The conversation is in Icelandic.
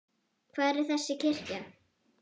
Hvar er þessi kirkja?